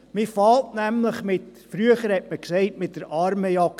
Man beginnt nämlich – früher hat man es so genannt – mit der Armenjagd.